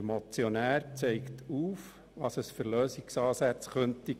Der Motionär zeigt mögliche Lösungsansätze auf.